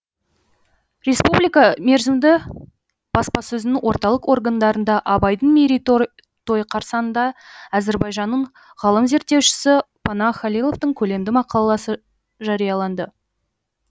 республика мерзімді баспасөзінің орталық органдарында абайдың мерейтойы қарсаңында әзербайжанның ғалым зерттеушісі панах халиловтың көлемді мақаласы жарияланды